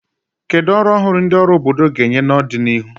Kedu ọrụ ọhụrụ ndị ọrụ obodo ga-enye n'ọdịnihu?